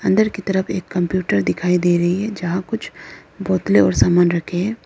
अंदर की तरफ एक कंप्यूटर दिखाई दे रही है जहां कुछ बोतले और सामान रखें है।